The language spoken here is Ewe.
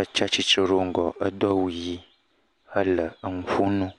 etsi atsitre ɖe wo ŋgɔ edo awu ʋi hele enu ƒom na wo.